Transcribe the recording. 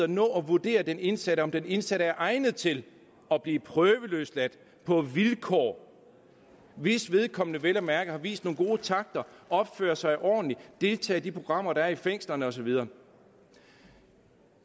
nå at vurdere den indsatte om den indsatte er egnet til at blive prøveløsladt på vilkår hvis vedkommende vel at mærke har vist nogle gode takter og opfører sig ordentligt deltager i de programmer der er i fængslerne og så videre